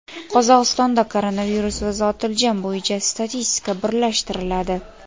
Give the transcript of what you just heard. Qozog‘istonda koronavirus va zotiljam bo‘yicha statistika birlashtiriladi.